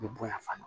U bɛ bonya fana